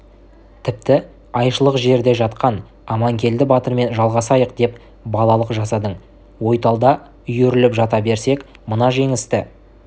тіпті айшылық жерде жатқан аманкелді батырмен жалғасайық деп балалық жасадың ойталда үйіріліп жата берсек мына жеңісті